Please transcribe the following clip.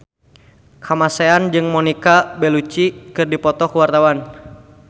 Kamasean jeung Monica Belluci keur dipoto ku wartawan